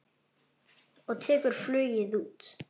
Og tekur flugið út.